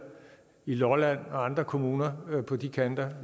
i lolland og andre kommuner på de kanter